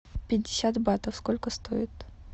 пятьдесят батов сколько стоит